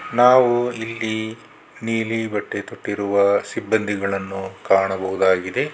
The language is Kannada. ನಾವು ಇಲ್ಲಿ ನೀಲಿ ಬಟ್ಟೆ ತೊಟ್ಟಿರುವ ಸಿಬ್ಬಂದಿಗಳನ್ನು ಕಾಣಬಹುದಾಗಿದೆ.